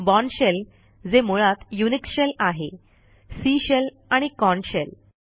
born shell जे मुळात Unix shell आहे सी शेल आणि कॉर्न शेल